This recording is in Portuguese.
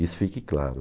Isso fique claro.